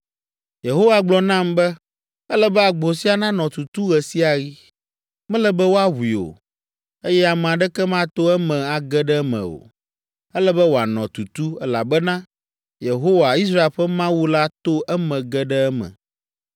Yehowa gblɔ nam be, “Ele be agbo sia nanɔ tutu ɣe sia ɣi. Mele be woaʋui o, eye ame aɖeke mato eme age ɖe eme o. Ele be wòanɔ tutu, elabena Yehowa, Israel ƒe Mawu la to eme ge ɖe eme.